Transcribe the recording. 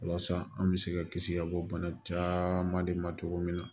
Walasa an bɛ se ka kisi ka bɔ bana caaman de ma cogo min na